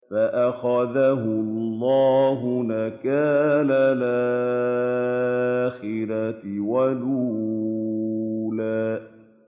فَأَخَذَهُ اللَّهُ نَكَالَ الْآخِرَةِ وَالْأُولَىٰ